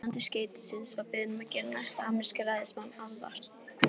Finnandi skeytisins var beðinn um að gera næsta ameríska ræðismanni aðvart.